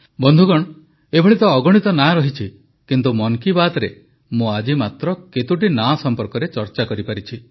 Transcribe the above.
ବନ୍ଧୁଗଣ ଏଭଳି ତ ଅଗଣିତ ନାଁ ରହିଛି କିନ୍ତୁ ମନ୍ କି ବାତ୍ରେ ମୁଁ ଆଜି ମାତ୍ର କେତୋଟି ନାଁ ସମ୍ପର୍କରେ ଚର୍ଚ୍ଚା କରିପାରିଛି